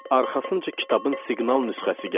Arxasınca kitabın siqnal nüsxəsi gəldi.